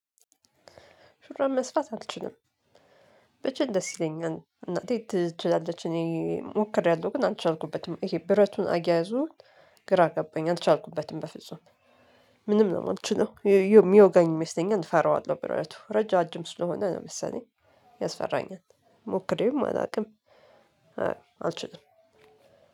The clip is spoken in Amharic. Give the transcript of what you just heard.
ሹራብ መስፉት አልችልም። ብችል ደስ ይለኛል እናቴ ትችላለች እኔ ሞክሬያለሁ ግን አልቻልኩበትም። ይሄ ብረቱን አያያዙ ግራ ገባኝ አልቻልኩበትም በፍጹም። ምንም ነው የማልችለው የሚወጋኝ ይመስለኛል እፈራዋለሁ ብረቱ ረጅም ስለሆነ ነው መሰለኝ። ያስፈራኛል ሞክሬውም አላውቅም። አልችልም